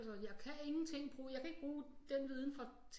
Altså jeg kan ingenting bruge jeg kan ikke bruge den viden fra